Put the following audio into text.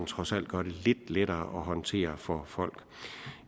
trods alt gør den lidt lettere at håndtere for folk